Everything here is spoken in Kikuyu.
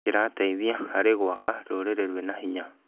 Kĩrateithia harĩ gwaka rũrĩrĩ rwĩna hinya.